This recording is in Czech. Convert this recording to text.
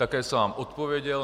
Také jsem vám odpověděl.